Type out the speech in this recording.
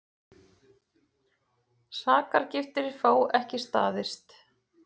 Sakargiftir fá ekki staðist